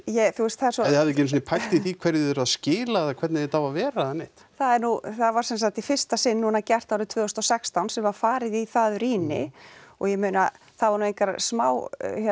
ef þið hafið ekki einu sinni pælt í því hverju þið eruð að skila eða hvernig þetta á að vera eða neitt það er nú það var sem sagt í fyrsta sinn núna gert árið tvö þúsund og sextán sem var farið í það rýni og ég meina það voru nú engar smá